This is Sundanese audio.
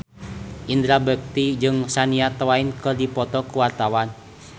Indra Bekti jeung Shania Twain keur dipoto ku wartawan